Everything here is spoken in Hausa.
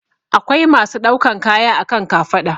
Akwai masu ɗaukan kaya a kan kafaɗa